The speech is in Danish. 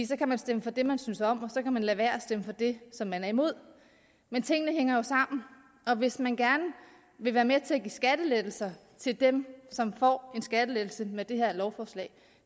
så kan man stemme for det man synes om og så kan man lade være med at stemme for det som man er imod men tingene hænger jo sammen og hvis man gerne vil være med til at give skattelettelser til dem som får en skattelettelse med det her lovforslag